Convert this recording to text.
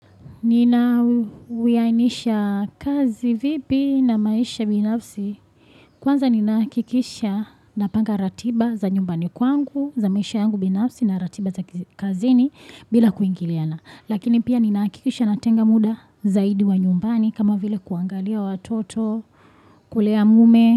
Nina huyanisha kazi vipi na maisha binafsi. Kwanza ninaakikisha napanga ratiba za nyumbani kwangu, za maisha yangu binafsi na ratiba za kazini bila kuingiliana. Lakini pia ninahakikisha natenga muda zaidi wa nyumbani kama vile kuangalia watoto, kulea mume.